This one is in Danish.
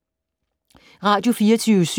Radio24syv